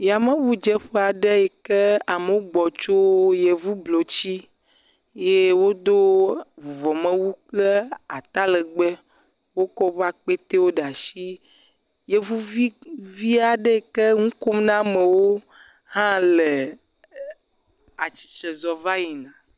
Yameŋudzeƒe aɖe yi ke amewo gbɔ tso yevu blotsi eye wodo vuvɔmewu kple atalegbe wokɔ woƒe akpewo ɖe asi yevuvi aɖe yi ke nu kom na amewo hã le atsss, zɔ va yina.